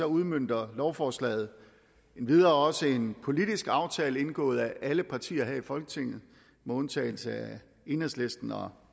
udmønter lovforslaget endvidere også en politisk aftale indgået af alle partier her i folketinget med undtagelse af enhedslisten og